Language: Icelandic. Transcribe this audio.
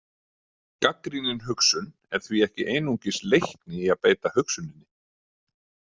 Gagnrýnin hugsun er því ekki einungis leikni í að beita hugsuninni.